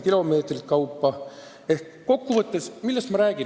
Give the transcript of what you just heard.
Millest ma kokku võttes räägin?